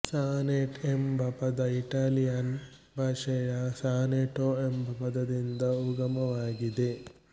sonnet ಎಂಬ ಪದ Italian ಭಾಷೆಯ ಸಾನೆಟೋ ಎಂಬ ಪದದಿಂದ ಉಗಮವಾಗಿದೆ